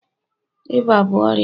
ịba bụ ọrịa